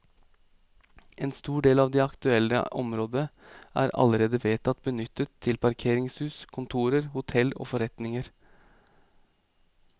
En stor del av det aktuelle området er allerede vedtatt benyttet til parkeringshus, kontorer, hotell og forretninger.